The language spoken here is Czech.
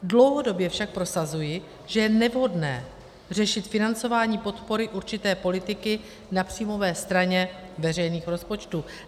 Dlouhodobě však prosazuji, že je nevhodné řešit financování podpory určité politiky na příjmové straně veřejných rozpočtů.